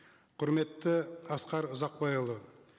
құрметті асқар ұзақбайұлы